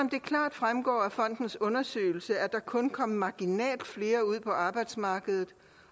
fremgår af fondens undersøgelse at der kun kom marginalt flere ud på arbejdsmarkedet